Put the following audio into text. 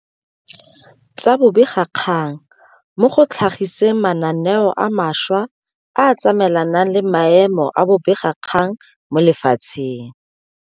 Tsa bobegakgang mo go tlha giseng mananeo a mantšhwa a a tsamaelanang le maemo a bobegakgang mo lefatsheng.